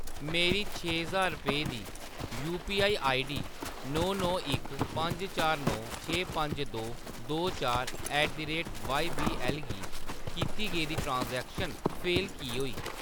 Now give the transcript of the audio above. मेरी छे ज्हार रपेऽ दी यूपीआई आईडी नौ नौ इक पंज चार नौ छे पंज दो दो चार ऐट द रेट वाॅईबीऐल गी कीती गेदी ट्रांज़ैक्शन फेल की होई?